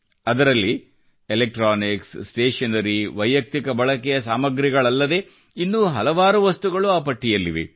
ಅದರಲ್ಲಿ electronics stationery ವೈಯಕ್ತಿಕ ಬಳಕೆಯ ಸಾಮಗ್ರಿಗಳಲ್ಲದೇ ಇನ್ನೂ ಹಲವಾರು ವಸ್ತುಗಳು ಆ ಪಟ್ಟಿಯಲ್ಲಿವೆ